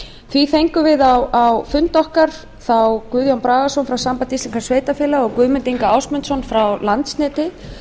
því fengum við á fund okkar þá guðjón bragason frá sambandi íslenskra sveitarfélaga og guðmund inga ásmundsson frá landsneti